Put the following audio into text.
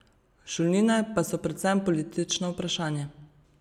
Šolnine pa so predvsem politično vprašanje.